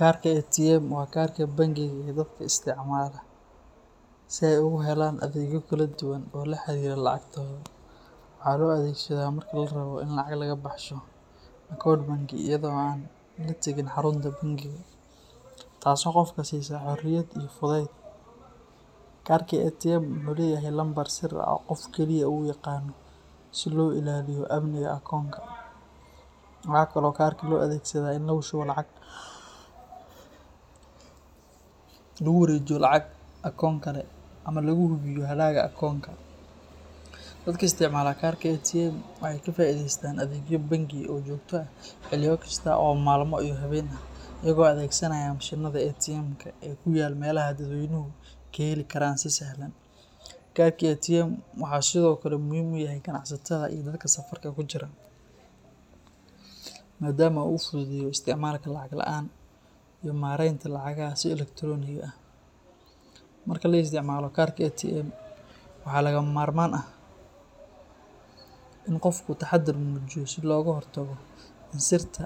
Karka ATM waa kaarka bangiga ee dadka isticmaala si ay ugu helaan adeegyo kala duwan oo la xiriira lacagtooda. Waxaa loo adeegsadaa marka la rabo in lacag laga baxsho akoon bangi iyadoo aan la tagin xarunta bangiga, taasoo qofka siisa xoriyad iyo fudayd. Karka ATM wuxuu leeyahay lambar sir ah oo qofka keliya uu yaqaanno si loo ilaaliyo amniga akoonka. Waxa kale oo karka loo adeegsadaa in lagu shubo lacag, lagu wareejiyo lacag akoon kale, ama lagu hubiyo hadhaaga akoonka. Dadka isticmaala karka ATM waxay ka faa'iideystaan adeegyo bangi oo joogto ah xilliyo kasta oo maalmo iyo habeen ah, iyagoo adeegsanaya mashiinnada ATM-ka ee ku yaal meelaha dadweynuhu ka heli karaan si sahlan. Karka ATM wuxuu sidoo kale muhiim u yahay ganacsatada iyo dadka safarka ku jira, maadaama uu fududeeyo isticmaalka lacag la’aan ah iyo maaraynta lacagaha si elektaroonig ah. Marka la isticmaalo karka ATM, waxaa lagama maarmaan ah in qofku taxaddar muujiyo si looga hortago in sirta